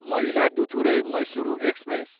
Mayiladuthurai, Mysuru express